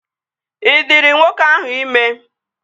Ị dịrị nwoke ahụ ime?